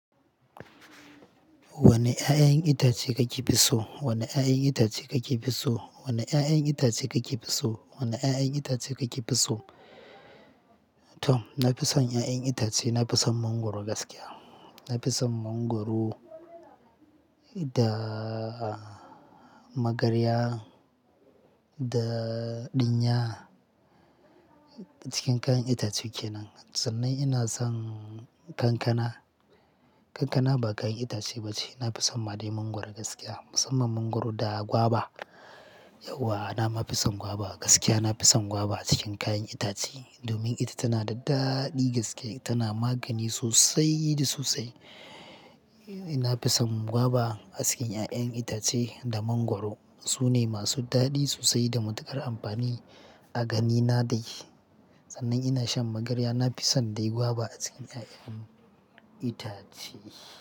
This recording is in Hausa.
Wani ƴaƴan itace kake fi so? Wani ƴaƴan itace kake fi so? Wani ƴaƴan itace kake fi so? Wani ƴaƴan itace kake fi so? Tom, na fi son ƴaƴan itace, na fi son mangwaro gaskiya. Na fi son mangwaro da magarya da ɗinya cikin kayan itace kenan. Sannan ina son kankana. Kankana ba kayan itace ba ce. Na fi son ma dai mangwaro gaskiya, musamman mangwaro da gwaba. Yauwa na ma fi son gwaba. Gaskiya na fi son gwaba a cikin kayan itace domin ita tana da daɗi gaske, tana magani sosai da sosai. Na fi son gwaba a cikin ƴaƴan itace da mangwaro. Su ne masu daɗi sosai da matuƙar amfani a ganina dai. Sannan ina shan magarya, na fi son dai gwaba a cikin ƴaƴan itace.